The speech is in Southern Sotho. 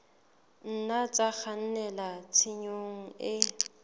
nna tsa kgannela tshenyong e